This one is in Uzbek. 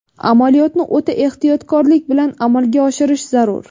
Amaliyotni o‘ta ehtiyotkorlik bilan amalga oshirish zarur.